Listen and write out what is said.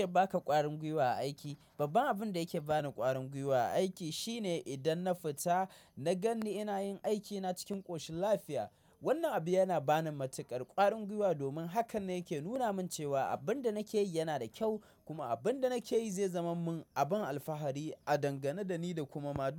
Me yake ba ka ƙwarin gwiwa a aiki? Babban abun da yake bani ƙwarin gwiwa a aiki shine idan na fita na ganni ina yin aikina cikin ƙoshin lafiya. Wannan abu yana bani matuƙar ƙwarin gwiwa domin hakan ne yake nuna min cewa abin da nake yi yana da kyau kuma abin da nake yi zai zama min abin alfahari a dangane da ni da kuma ma.